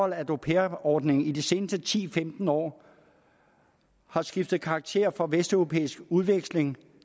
at au pair ordningen i de seneste ti til femten år har skiftet karakter fra vesteuropæisk udveksling